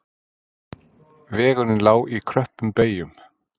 Vegurinn lá í kröppum beygjum